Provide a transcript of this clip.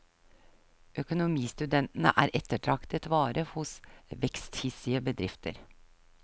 Økonomistudentene er ettertraktet vare hos veksthissige bedrifter.